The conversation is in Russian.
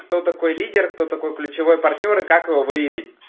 кто такой лидер кто такой ключевой партнёр и как его выявить